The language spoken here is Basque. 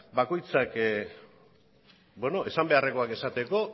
bakoitzak esan beharrekoak esateko